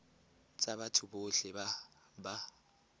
tsa batho botlhe ba ba